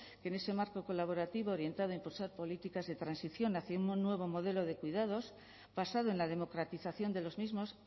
que en ese marco colaborativo orientado a impulsar políticas de transición hacia un nuevo modelo de cuidados basado en la democratización de los mismos